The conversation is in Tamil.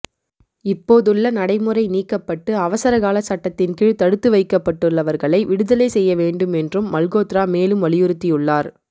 இப்போதுள்ள நடைமுறை நீக்கப்பட்டு அவசரகாலச் சட்டத்தின் கீழ் தடுத்து வைக்கப்பட்டுள்ளவர்களை விடுதலை செய்ய வேண்டும் என்றும் மல்கோத்ரா மேலும் வலியுறுத்தியுள்ளார்